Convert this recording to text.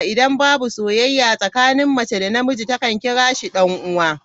Idan babu sauyayya tsakanin Mace da na miji, ta kan kira shi dan'uwa.